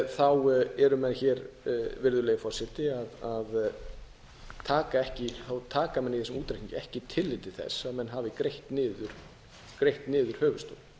þá eru menn hér virðulegi forseti að taka menn ekki tillit til þess að menn hafi greitt niður höfuðstólinn